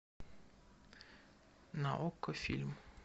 на окко фильм